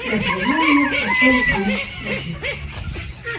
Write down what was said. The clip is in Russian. я развернул её прочёл следующие строки